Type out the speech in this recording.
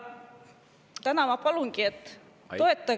Täna ma palungi, et toetage …